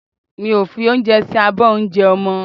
Mi ò fi oúnjẹ sí abọ́ oúnjẹ ọmọ